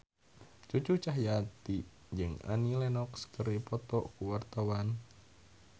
Cucu Cahyati jeung Annie Lenox keur dipoto ku wartawan